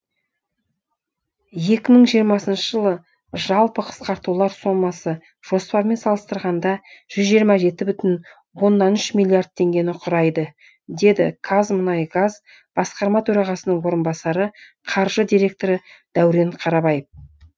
екі мың жиырмасыншы жылы жалпы қысқартулар сомасы жоспармен салыстырғанда жүз жиырма жеті бүтін оннан үш миллиард теңгені құрайды деді қазмұнайгаз басқарма төрағасының орынбасары қаржы директоры дәурен қарабаев